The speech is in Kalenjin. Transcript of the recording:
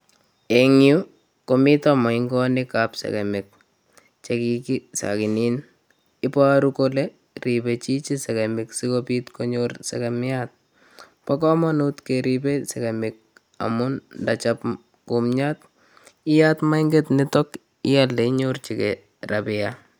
Eng yu komito moingonik ab segemik, chekikisaginin. Ibaru kole ribei chichi segemik sikobit konyor segemiat. Bo komanut keribei segemik amun ndachop kumyat iyat moinget nitok ialde inyorchigei rabia.